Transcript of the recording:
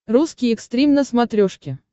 русский экстрим на смотрешке